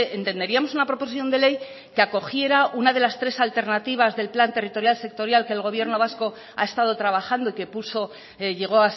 entenderíamos una proposición de ley que acogiera una de las tres alternativas del plan territorial sectorial que el gobierno vasco ha estado trabajando y que puso llegó